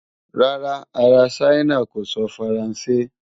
Rárá, ará Ṣáínà kò sọ Faransé.